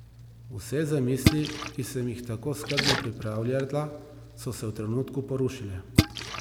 Vse zamisli, ki sem jih tako skrbno pripravljala, so se v trenutku porušile.